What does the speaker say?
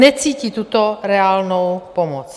Necítí tuto reálnou pomoc.